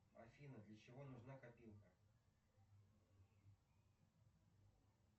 афина для чего нужна копилка